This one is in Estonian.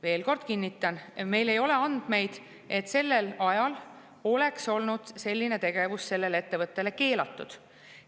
Veel kord kinnitan: meil ei ole andmeid, et sellel ajal oleks olnud selline tegevus sellele ettevõttele keelatud.